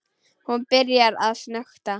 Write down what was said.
Hún byrjar að snökta.